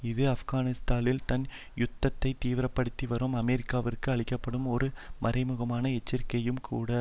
இது ஆப்கானிஸ்தானில் தன் யுத்தத்தை தீவிர படுத்தி வரும் அமெரிக்காவிற்கு அளிக்க படும் ஒரு மறைமுகமான எச்சரிக்கையும் கூட